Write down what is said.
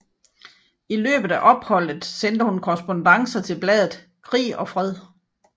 I løbet af opholdet sendte hun korrespondancer til bladet Krig og Fred